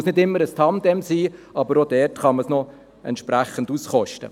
Es muss nicht immer ein Tandem sein, aber auch dort kann man es noch entsprechend auskosten.